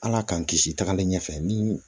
Ala k'an kisi tagalen ɲɛfɛ ni